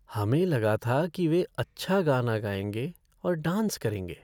हमें लगा था कि वे अच्छा गाना गाएंगे और डांस करेंगे।